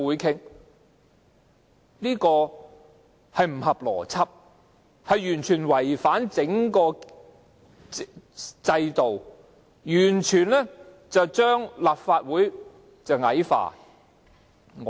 這並不合邏輯，完全違反整個制度，完全將立法會矮化。